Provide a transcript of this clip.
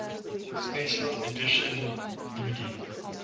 special edition dvd